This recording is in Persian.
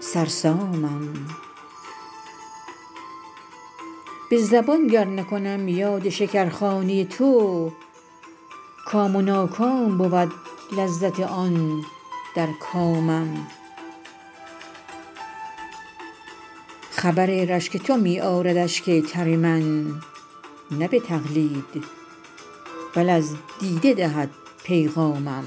سرسامم به زبان گر نکنم یاد شکرخانه تو کام و ناکام بود لذت آن در کامم خبر رشک تو می آرد اشک تر من نه به تقلید بل از دیده دهد پیغامم